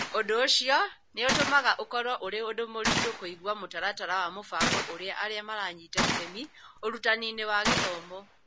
Ũndũ ũcio nĩ ũtũmaga ũkorũo ũrĩ ũndũ mũritũ kũiga mũtaratara wa mũbango ũrĩa arĩa maranyita itemi ũrutani-inĩ wa gĩthomo.